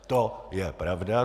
To je pravda.